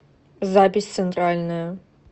запись центральная